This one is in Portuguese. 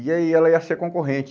E aí, ela ia ser concorrente.